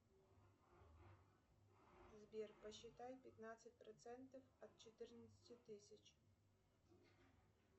сбер посчитай пятнадцать процентов от четырнадцати тысяч